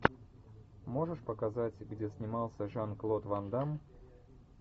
можешь показать где снимался жан клод ван дамм